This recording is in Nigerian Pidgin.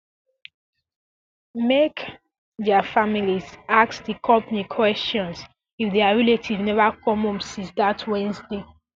make um dia families ask di company kwesions if dia relatives never come home since dat wednesday